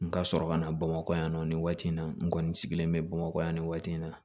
N ka sɔrɔ ka na bamakɔ yan nɔ nin waati in na n kɔni sigilen bɛ bamakɔ yan nin waati in na